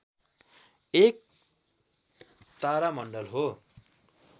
एक तारामण्डल हो